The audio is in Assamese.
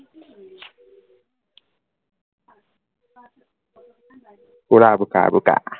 পুৰা বোকা বোকা